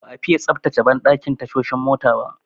Ba'a fiye tsaftace banɗakin tashoshin mota ba.